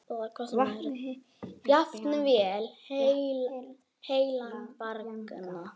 Jafnvel heilan bragga.